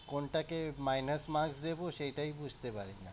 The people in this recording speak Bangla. কোনটা কে minus marks দেবো সেটাই বুঝতেপারি না।